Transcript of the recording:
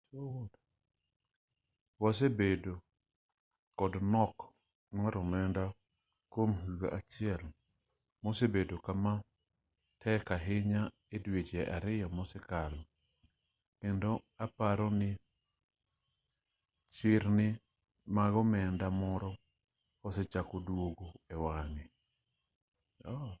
wasebedo kod nok mar omenda kwom higa achiel mosebedo kama tek ahinya e dweche ariyo mosekalo kendo aparo ni chirni mag omenda koro osechako duogo e wang'e